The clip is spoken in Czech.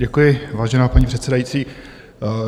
Děkuji, vážená paní předsedající.